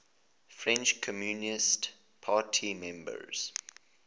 french communist party members